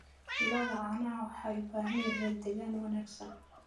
Lo'da caanaha waxay u baahan yihiin deegaan wanaagsan.